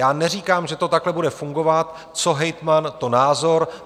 Já neříkám, že to takhle bude fungovat, co hejtman, to názor.